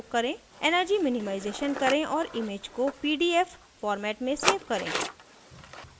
#energy minimization करें और image को pdf format में सेव करें